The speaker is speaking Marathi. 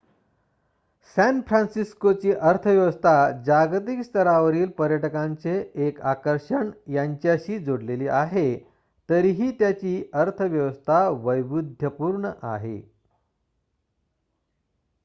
सॅन फ्रान्सिस्कोची अर्थव्यवस्था जागतिक स्तरावरील पर्यटकांचे एक आकर्षण यांच्याशी जोडलेली आहे तरीही त्याची अर्थव्यवस्था वैविध्यपूर्ण आहे